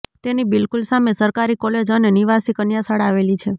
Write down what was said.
તેની બિલકુલ સામે સરકારી કોલેજ અને નિવાસી કન્યાશાળા આવેલી છે